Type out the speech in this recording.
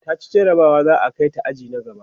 taci jarabawa za'a Kai ta aji na gaba